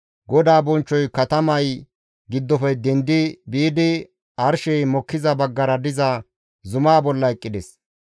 GODAA bonchchoy katamay giddofe dendi biidi arshey mokkiza baggara diza zumaa bolla eqqides.